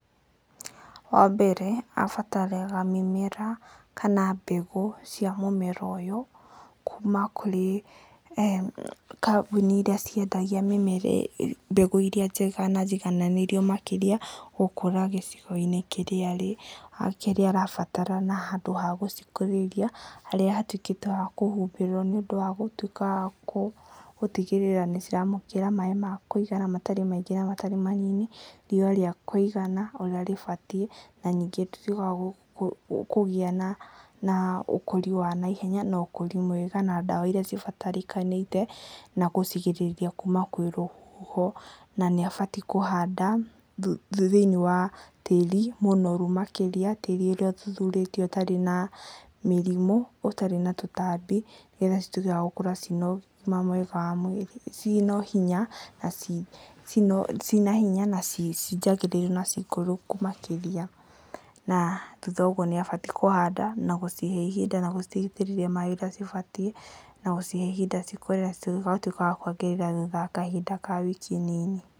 Wa mbere abataraga mũmera kana mbegũ cia mũmera ũyũ kuma kũrĩ kambuni iria ciendagio mĩmera ĩno, mbegũ iria njega na njigananĩru makĩria gũkũra gĩcigo-inĩ kĩrĩa arĩ, kĩrĩa arabatara handũ ha gũcikũrĩria harĩa hatuĩkĩte ha kũhumbĩrwo nĩ ũndũ wa gũtuĩka wa gũtigĩrĩra maĩ ma kũigana matarĩ maingĩ na matarĩ manini, riũa rĩa kũigana ũrĩa rĩbatie na ningĩ tĩri wa kũgĩa na ũkũri wa naihenya na ũkũri mwega na dawa iria cibatarĩkanĩte na gũcigĩrĩria kuma na kwĩ rũhuho na nĩ abatie kũhanda thĩinĩ wa tĩri mũnoru, makĩria tĩri ũrĩa ũthuthurĩtio ũtarĩ na mĩrimũ, ũtarĩ na tũtambi, nĩgetha cituĩke wa gũkũra ciĩ na ũgima mwega wa mwĩrĩ, ciĩ na hinya na ciĩ njagĩrĩru na ciĩ ngũrũ makĩria na thutha wa ũguo nĩ abatie kũhanda na gũcihe ihinda na gũcitĩrĩria maĩ ũrĩa cibatie na gũcihe ihinda cikũre, na cituĩke wa kwagĩrĩra thutha wa wiki nini.